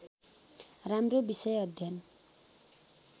राम्रो विषय अध्ययन